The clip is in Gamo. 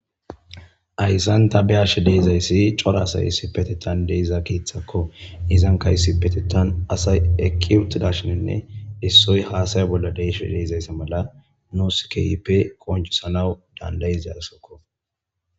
ayssanta be ashe deezayssi cora asay si petetan deiza keeththakko izan kaysi petetan asay eqqi uttidashininne issoy haasay bolla deeshe deezaysse mala noosikeyipe konjusanawu dandayiasokko